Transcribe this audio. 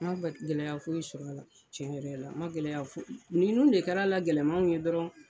An bɛ gɛlɛya foyi sɔr'a la tiɲɛ yɛrɛ la ma gɛlɛya foy ninnu de kɛr'a la gɛlɛmanw ye dɔrɔn